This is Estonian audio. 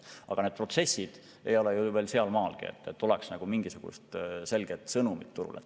Aga need protsessid ei ole ju veel sealmaalgi, et oleks antud mingisugune selge sõnum turule.